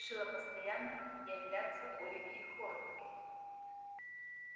я решила постоянно являться оливии хорнби